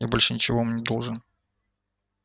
я больше ничего вам не должен